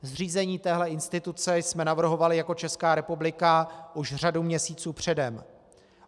Zřízení téhle instituce jsme navrhovali jako Česká republika už řadu měsíců předem.